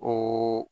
O